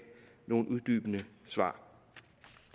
nogle uddybende svar